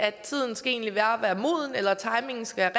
at tiden egentlig bare skal være moden eller at timingen skal